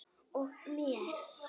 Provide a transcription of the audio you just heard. Og mér.